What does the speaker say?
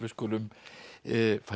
skulum fara í